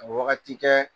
Ka wagati kɛ